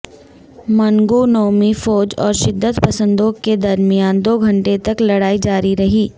منگونو مںی فوج اور شدت پسندوں کے درمیان دو گھنٹے تک لڑائی جاری رہی